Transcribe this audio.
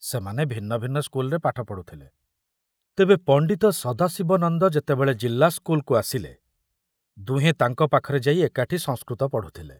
ସେମାନେ ଭିନ୍ନ ଭିନ୍ନ ସ୍କୁଲରେ ପାଠ ପଢ଼ୁଥିଲେ, ତେବେ ପଣ୍ଡିତ ସଦାଶିବ ନନ୍ଦ ଯେତେବେଳେ ଜିଲ୍ଲା ସ୍କୁଲକୁ ଆସିଲେ, ଦୁହେଁ ତାଙ୍କ ପାଖରେ ଯାଇ ଏକାଠି ସଂସ୍କୃତ ପଢୁଥିଲେ।